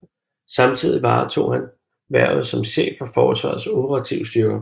Samtidig varetog han hvervet som chef for Forsvarets Operative Styrker